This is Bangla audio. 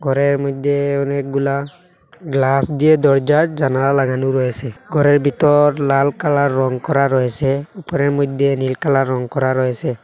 ঘরের মধ্যে অনেকগুলা গ্লাস দিয়ে দরজার জানালা লাগানো রয়েসে ঘরের ভিতর লাল কালার রং করা রয়েসে উপরের মধ্যে নীল কালার রং করা রয়েসে।